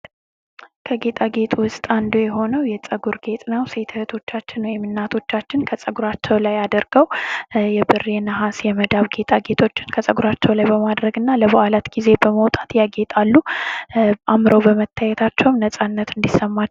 ከጌጣጌጥ ውስጥ አንዱ የሆነው የፀጉር ጌጥ ነው። ሴት እህቶቻችን ወይም እናቶቻችን ከፀጉራቸው ላይ አድርገው የብር ፣ የነሀስ ፣የመዳብ ጌጣጌጦችን ከፀጉራቸው ላይ በማድረግ እና ለበዓላት ጊዜ በመውጣት ያጌጣሉ። አምረው በመታየታቸውም ነፃነት እንዲሰማቸው